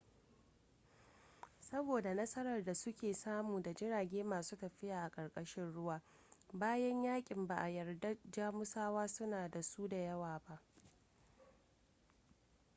saboda nasarar da suke samu da jirage masu tafiya a ƙarƙashin ruwa bayan yakin ba a yarda jamusawa suna da su da yawa ba